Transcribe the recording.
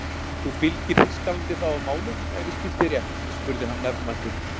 Þú fylgir Þýskalandi þá að málum ef ég skil þig rétt? spurði hann nefmæltur.